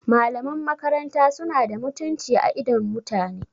Malaman makarata suna da mutunci a idon mutane